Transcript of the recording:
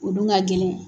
O dun ka gɛlɛn